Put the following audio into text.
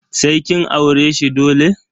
Sai kin aure shi dole.